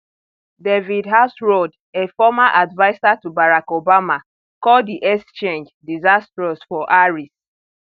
david axelrod a former adviser to barack obama call di exchange diisastrous for harris